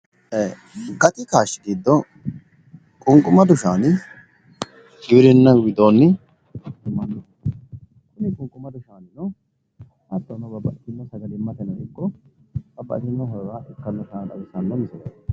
ee gati kaashi giddo qunqumadu shaani giwirinu widooni